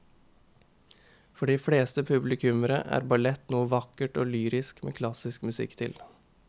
For de fleste publikummere er ballett noe vakkert og lyrisk med klassisk musikk til.